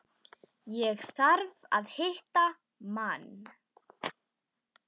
Ég þarf að hitta mann.